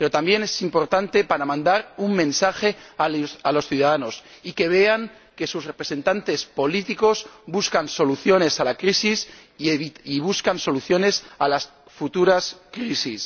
Pero también es importante para mandar un mensaje a los ciudadanos, y que vean que sus representantes políticos buscan soluciones a la crisis y buscan soluciones a las futuras crisis.